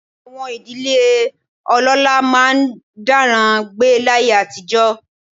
Àwọn ìdílé ọlọ́lá máa ń dáràn gbé láyé àtijọ́